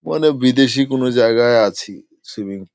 মানে বিদেশি কোনো জায়গায় আছি। সুইমিং --